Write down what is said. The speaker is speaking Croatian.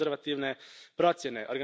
To su konzervativne procjene.